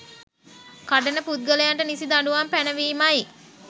කඩන පුද්ගලයන්ට නිසි දඬුවම් පැනවීමයි